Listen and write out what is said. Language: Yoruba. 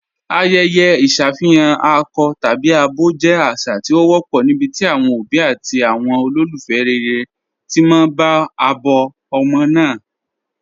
Ayẹ̀yẹ̀ iṣafihàn akọ̀ tabi abọ jẹ́ àṣà tí o wọ̀pọ̀ níbití awọn obì àti awọn olúfẹ́ rẹ̀rẹ̀ ti mọ̀ abọ̀ ọmọ́ náà.